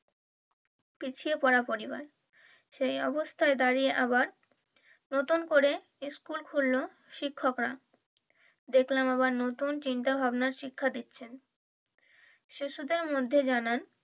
পিছিয়ে পড়া পরিবার। সেই অবস্থায় দাঁড়িয়ে আবার নতুন করে স্কুল খুললো শিক্ষকরা দেখলাম আবার নতুন চিন্তা ভাবনা শিক্ষা দিচ্ছেন শিশুদের মধ্যে জানার,